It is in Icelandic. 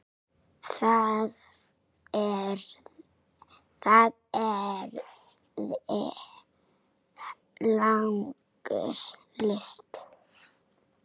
Það yrði langur listi.